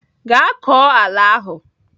Gaa kọọ ala ahụ!